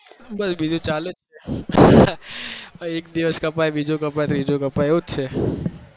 બસ બીજું ચાલે જાય